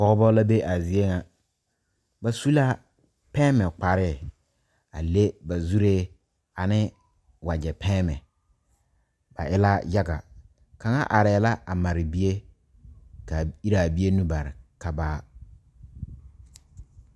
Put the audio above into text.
Pɔgebo la de a zie kaŋa pɛne kparre a le ba zure ane wagye pɛne ba e la yaga kaŋa are la a mare bie kaa iraa bie nu bare ka baa.